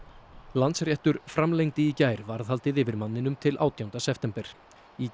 Landsréttur framlengdi í gær varðhaldið yfir manninum til átjánda september í